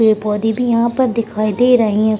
पेड़-पौधे भी यहाँ पर दिखाई दे रहे हैं।